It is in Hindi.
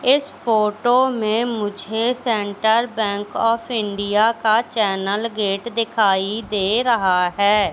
इस फोटो में मुझे सेंटर बैंक ऑफ इंडिया का चैनल गेट दिखाई दे रहा है।